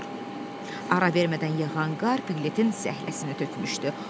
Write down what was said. Ara vermədən yağan qar Piklitin səhləsini tökmüşdü.